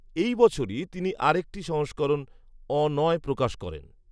এই বছরই তিনি আর একটি সংস্করণ, অ নয় প্রকাশ করেন